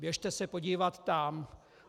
Běžte se podívat tam.